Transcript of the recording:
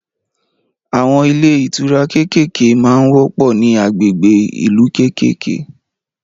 Àwọn ilé ìtura kékèké ma ń wọ́pọ̀ ní agbègbè ìlú kékèké